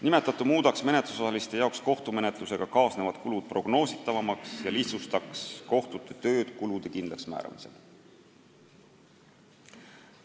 Kui seda tehtaks, muutuksid menetlusosalistele kohtumenetlusega kaasnevad kulud prognoositavamaks ja kohtute töö kulude kindlaksmääramisel lihtsamaks.